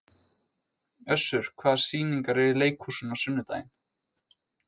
Össur, hvaða sýningar eru í leikhúsinu á sunnudaginn?